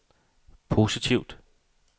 positivt